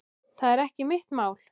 Það er ekki mitt mál.